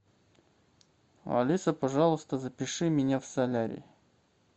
алиса пожалуйста запиши меня в солярий